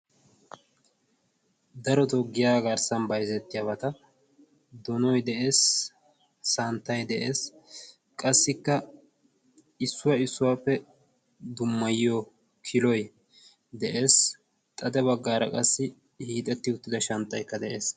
Daroto giyaa garssan bayzettiyaabata donoy de'ees. santtay de'ees. qassikka issuwaa issuwaappe dummayiyo kiloy de'ees. xade baggaara qassi hiixetti uttida shanttaikka de'ees.